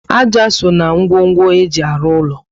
Ájá so na ngwongwo eji arụ úlọ